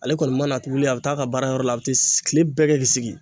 Ale kɔni mana a bɛ taa ka baarayɔrɔ la kile bɛɛ kɛ k'i sigi.